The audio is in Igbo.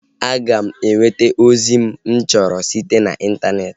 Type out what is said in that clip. A ga m enweta ozi mụ chọrọ site na intaneeti